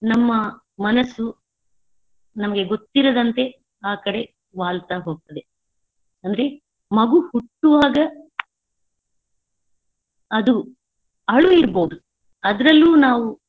ನಮ್ಮ ಮನಸ್ಸು ನಮಗೆ ಗೊತ್ತಿರದಂತೆ ಆಕಡೆ ವಾಲ್ತಾ ಹೋಗ್ತದೆ. ಅಂದ್ರೆ ಮಗು ಹುಟ್ಟುವಾಗ ಅದು ಅಳು ಇರ್ಬೋದು ಅದ್ರಲ್ಲೂ ನಾವು.